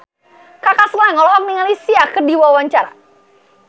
Kaka Slank olohok ningali Sia keur diwawancara